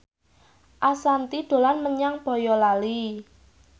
Ashanti dolan menyang Boyolali